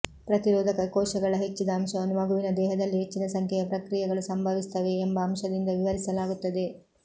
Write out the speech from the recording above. ಪ್ರತಿರೋಧಕ ಕೋಶಗಳ ಹೆಚ್ಚಿದ ಅಂಶವನ್ನು ಮಗುವಿನ ದೇಹದಲ್ಲಿ ಹೆಚ್ಚಿನ ಸಂಖ್ಯೆಯ ಪ್ರಕ್ರಿಯೆಗಳು ಸಂಭವಿಸುತ್ತವೆ ಎಂಬ ಅಂಶದಿಂದ ವಿವರಿಸಲಾಗುತ್ತದೆ